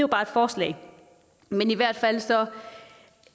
bare et forslag men i hvert fald